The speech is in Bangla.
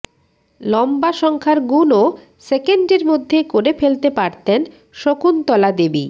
লম্বা সংখ্যার গুণও সেকেন্ডের মধ্যে করে ফেলতে পারতেন শকুন্তলা দেবী